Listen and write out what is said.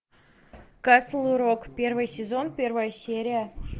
касл рок первый сезон первая серия